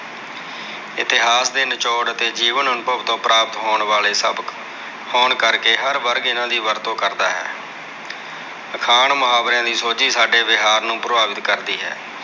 ਇਤਿਹਾਸ ਦੇ ਨਿਚੋੜ ਅਤੇ ਜੀਵਨ ਅਨੁਭਵ ਤੋਂ ਪ੍ਰਾਪਤ ਹੋਣ ਵਾਲੇ ਸਬਕ ਹੋਣ ਕਰਕੇ, ਹਰ ਵਰਗ ਇਹਨਾਂ ਦੀ ਵਰਤੋਂ ਕਰਦਾ ਹੈ। ਅਖਾਣ, ਮੁਹਾਵਰਿਆ ਦੀ ਸੋਝੀ ਸਾਡੇ ਵਿਹਾਰ ਨੂੰ ਪ੍ਰਭਾਵਿਤ ਕਰਦੀ ਹੈ।